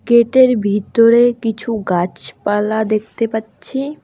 গেটের ভিতোরে কিছু গাছপালা দেখতে পাচ্ছি।